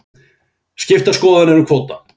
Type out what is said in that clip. Skiptar skoðanir um kvóta